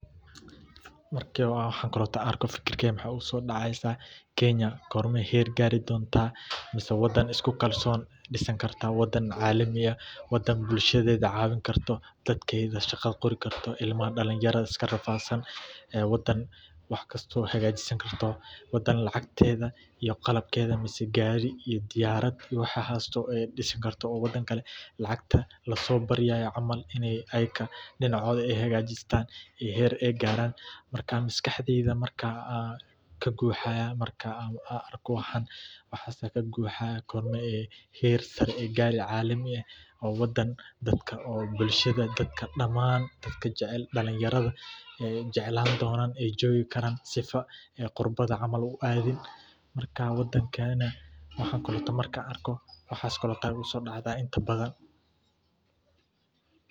Marki waxaan oo kale aan arko fikirkeyga waxaa igu soo daceysa, kenya gormee heer gaari doonta mise wadan isku kalsoon noqon kartaa, wadan caalami ah, wadan bulshadeeda cawin karto, dadkeeda shaqa qori karto, ilma dalin yara iska rafaadsan, wadan wax kasto hagaajisan karto, qalabkeeda mise gaari iyo diyaarad disi karto, mise wadan kale lacag lasoo baryaayo ineey dinacooda hagaajistaan aay heer gaaran, marka maskaxdeyda waxaa kaguuxaya markaan arko waxan gormee heer sare gaari oo caalami, oo dadka damaan dalinyarada jeclaan doonan aay joogi karaan, si aay qurbaha u adin marka, waxan markaan arko waxaas ayaa igu soo dacdaa inta badan.